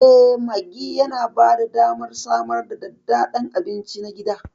Eh, maggi yana ba da damar samar da daddaɗan abinci na gida.